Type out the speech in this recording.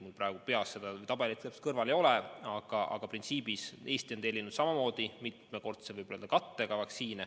Mul praegu seda tabelit kõrval ei ole, aga printsiibis on Eesti tellinud samamoodi vaktsiine mitmekordse kattega.